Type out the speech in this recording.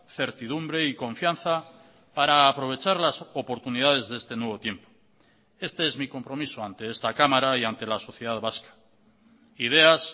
certidumbre y confianza para aprovechar las oportunidades de este nuevo tiempo este es mi compromiso ante esta cámara y ante la sociedad vasca ideas